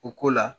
O ko la